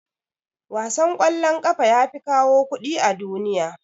Wasan kwallon kafa yafi kawo kuɗi a duniya.